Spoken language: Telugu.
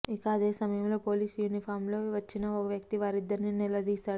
ఇక అదే సమయంలో పోలీసు యూనిఫామ్లో వచ్చిన ఓ వ్యక్తి వారిద్దని నిలదీశాడు